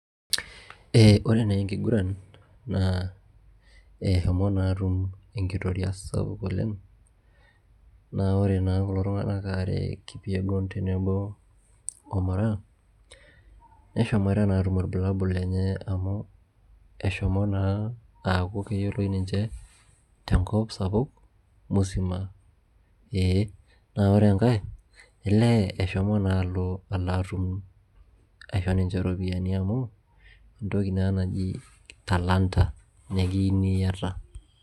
Ee ore naa enkiguran naa eshomo naa atum enkitoria sapuk oleng' naa ore naa kulo tung'anak aare ee Kipyegon tenebo oo Moraa, neshomoita naa aatum irbulabul lenye amu eshomo naa aaku keyioloi ninche te nkop sapuk musima ee. Naa ore enkae elee eshomo naa alo alo atum aisho ninche iropiani amu entoki naa naji talanta nekiyuni iyata.